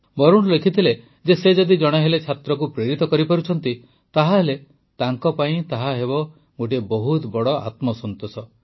ବରୁଣ ଲେଖିଥିଲେ ଯେ ସେ ଯଦି ଜଣେ ହେଲେ ଛାତ୍ରକୁ ପ୍ରେରିତ କରିପାରୁଛନ୍ତି ତାହେଲେ ତାଙ୍କ ପାଇଁ ତାହା ହେବ ଗୋଟିଏ ବହୁତ ବଡ଼ ଆତ୍ମସନ୍ତୋଷ